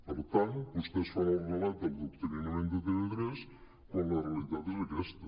per tant vostès fan el relat de l’adoctrinament de tv3 quan la realitat és aquesta